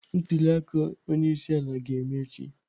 Ntuli aka onye isi ala ga-eme echi.